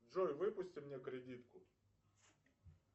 джой выпусти мне кредитку